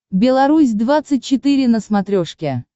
беларусь двадцать четыре на смотрешке